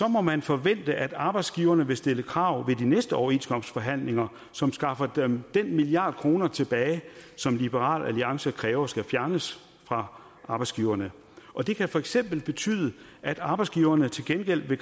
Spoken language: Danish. må man forvente at arbejdsgiverne vil stille krav ved de næste overenskomstforhandlinger som skaffer dem den milliard kroner tilbage som liberal alliance kræver skal fjernes fra arbejdsgiverne og det kan for eksempel betyde at arbejdsgiverne til gengæld ved